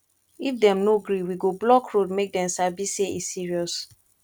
if dem no gree we go block road make dem sabi say e serious